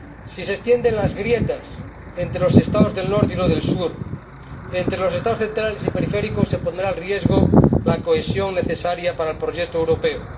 Si se extienden las grietas entre los Estados del norte y los del sur, entre los Estados centrales y los periféricos, se pondrá en riesgo la cohesión necesaria para el proyecto europeo.